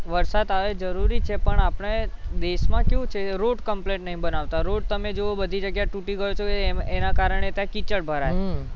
વરસાદ આવે એ જરૂરી છે પણ આપણે દેશમાં કેવું છે road complain નહીં બનાવતા road તમે જુઓ બધી જગ્યાએ તૂટી ગયો તો એમાં, એના કારણે ત્યાં કિચ્ચાડ ભરાય